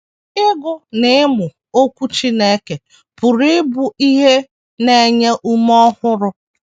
Ịgụ na ịmụ Okwu Chineke pụrụ ịbụ ihe na - enye ume ọhụrụ.